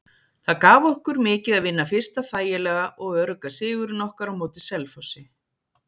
Það gaf okkur mikið að vinna fyrsta þægilega og örugga sigurinn okkar á móti Selfossi.